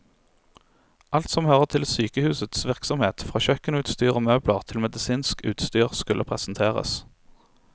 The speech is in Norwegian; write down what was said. Alt som hører til sykehusets virksomhet, fra kjøkkenutstyr og møbler til medisinsk utstyr, skulle presenteres.